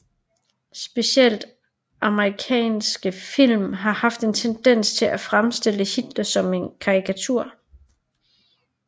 Specielt amerikanske film har haft en tendens til at fremstille Hitler som en karikatur